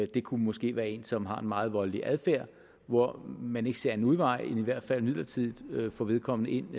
det kunne måske være en som har en meget voldelig adfærd hvor man ikke ser anden udvej end i hvert fald midlertidigt at få vedkommende ind